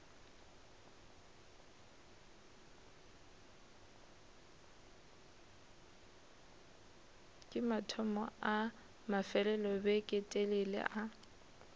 ke mathomo a mafelelobeketelele a